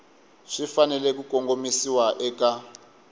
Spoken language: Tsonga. swi fanele ku kongomisiwa eka